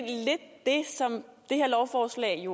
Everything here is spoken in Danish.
som det her lovforslag